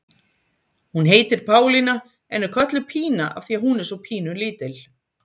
Hún heitir Pálína en er kölluð Pína af því að hún er svo pínu lítil.